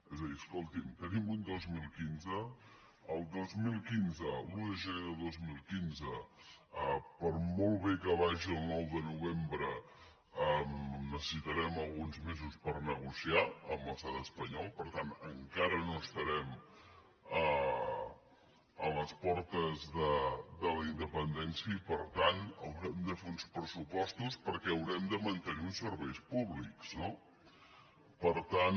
és a dir escolti’m tenim un dos mil quinze l’un de gener de dos mil quinze per molt bé que vagi el nou de novembre necessi·tarem alguns mesos per negociar amb l’estat espanyol per tant encara no estarem a les por·tes de la independència i per tant haurem de fer uns pressupostos perquè haurem de mantenir uns serveis públics no per tant